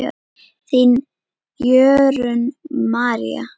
Þín, Jórunn María.